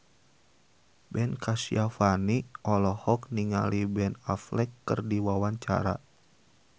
Ben Kasyafani olohok ningali Ben Affleck keur diwawancara